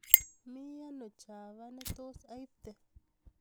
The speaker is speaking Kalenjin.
Mi ano chava netos aipte